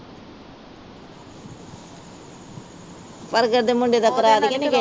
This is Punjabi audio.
ਪਰ ਇੱਕ ਅਦੇ ਦਾ ਮੁੰਡੇ ਦਾ ਕਰਾ ਦੇ ਆ